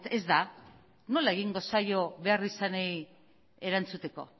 ez da nola egingo zaio beharrizanei erantzuteko